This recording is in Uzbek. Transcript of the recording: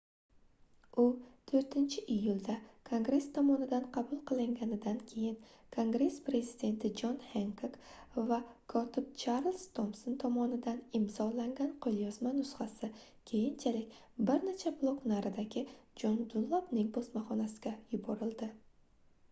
u 4-iyulda kongress tomonidan qabul qilinganidan keyin kongress prezidenti jon henkok va kotib charlz tomson tomonidan imzolangan qoʻlyozma nusxasi keyinchalik bir necha blok naridagi jon dunlapning bosmaxonasiga yuborildi